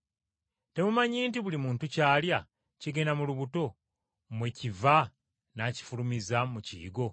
Temumanyi nti buli muntu ky’alya kigenda mu lubuto mwe kiva n’akifulumiza mu kiyigo?